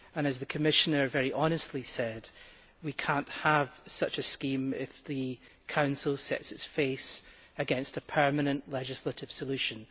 As the Commissioner very honestly said, we cannot have such a scheme if the Council sets its face against a permanent legislative solution.